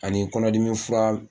Ani kɔnɔdimi fura